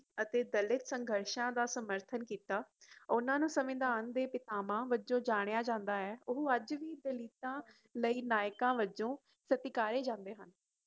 ਅਤੇ ਦਲਿਤ ਸੰਘਰਸ਼ਾਂ ਦਾ ਸਮਰਥਨ ਕੀਤਾ ਓਹਨਾ ਨੂ ਸੰਵਿਧਾਨ ਦੇ ਪਿਤਾਮਹ ਵਜੋਂ ਜਣਿਆ ਜਾਂਦਾ ਏ ਓਹ ਅੱਜ ਵੀ ਦਲਿਤ ਲਈ ਨਾਇਕਾ ਵਜੋਂ ਸਤਿਕਾਰੀ ਜਾਂਦੇ ਹਨ